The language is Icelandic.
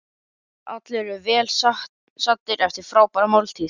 Allir eru vel saddir eftir frábæra máltíð.